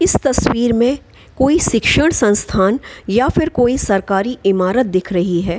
इस तस्वीर मे कोई शिक्षण संस्थान या फिर कोई सरकारी ईमारत दिख रही है ।